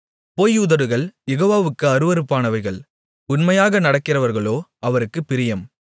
பொய் உதடுகள் யெகோவாவுக்கு அருவருப்பானவைகள் உண்மையாக நடக்கிறவர்களோ அவருக்குப் பிரியம்